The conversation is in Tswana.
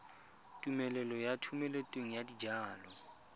tumelelo ya thomeloteng ya dijalo